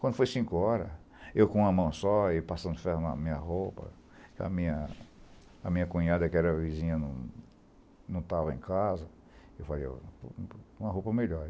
Quando foi cinco hora, eu com uma mão só e passando ferro na minha roupa, que a minha a minha cunhada, que era vizinha, não não estava em casa, eu falei, vou por uma roupa melhor.